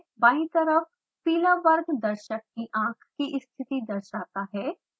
बायीं तरफ पीला वर्ग दर्शक की आंख की स्थिति दर्शाता है